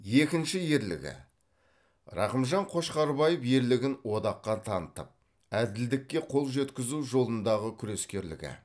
екінші ерлігі рақымжан қошқарбаев ерлігін одаққа танытып әділдікке қол жеткізу жолындағы күрескерлігі